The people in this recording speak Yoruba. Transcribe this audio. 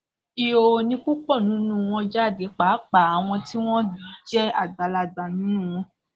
ìhòòhò ni púpọ nínú wọn jáde pàápàá àwọn tí wọn jẹ àgbàlagbà nínú wọn